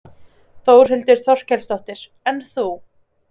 Þórhildur Þorkelsdóttir: En þú?